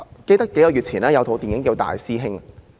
記得數個月前，有一齣電影名為"大師兄"。